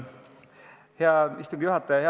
Hea istungi juhataja!